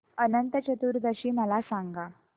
अनंत चतुर्दशी मला सांगा